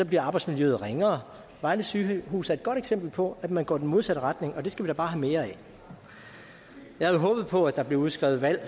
bliver arbejdsmiljøet ringere vejle sygehus er et godt eksempel på at man går i den modsatte retning og det skal vi da bare have mere af jeg havde håbet på at der blev udskrevet valg